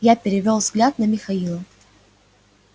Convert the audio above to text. я перевёл взгляд на михаила